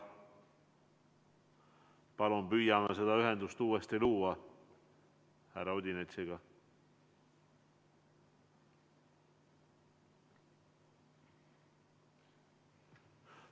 Palun püüame uuesti luua ühendust härra Odinetsiga.